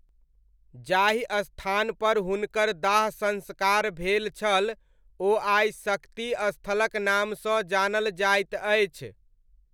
जाहि स्थानपर हुनकर दाह संस्कार भेल छल ओ आइ शक्ति स्थलक नामसँ जानल जाइत अछि।